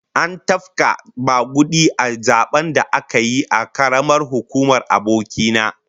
An tafka magudi a zaben da aka yi a karamar hukumar aboki na